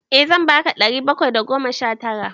Eh zan ba ka ɗari bakwai da goma sha tara.